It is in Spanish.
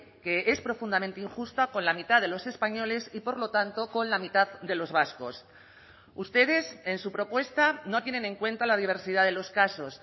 que es profundamente injusta con la mitad de los españoles y por lo tanto con la mitad de los vascos ustedes en su propuesta no tienen en cuenta la diversidad de los casos